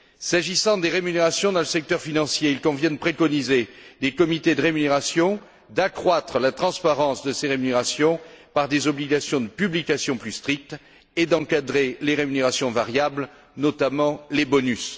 S'agissant des rémunérations dans le secteur financier, il convient de préconiser des comités de rémunération, d'accroître la transparence de ces rémunérations par des obligations de publication plus strictes et d'encadrer les rémunérations variables, notamment les bonus.